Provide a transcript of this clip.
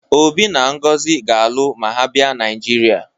Obi na Ngozi ga-alụ ma ha bịa Naịjirịa